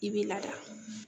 I bɛ lada